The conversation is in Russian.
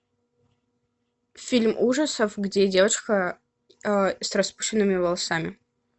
фильм ужасов где девочка с распущенными волосами